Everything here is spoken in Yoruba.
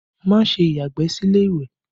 Má ṣe ya ìgbẹ́ sí ilé ìwẹ̀!